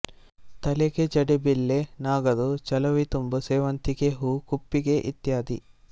ತಲೆಗೆ ಜಡೆಬಿಲ್ಲೆ ನಾಗರು ಚವಲಿತುಂಬು ಸೇವಂತಿಗೆ ಹೂ ಕುಪ್ಪಿಗೆ ಇತ್ಯಾದಿ